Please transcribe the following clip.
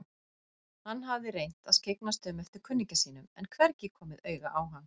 Hann hafði reynt að skyggnast um eftir kunningja sínum en hvergi komið auga á hann.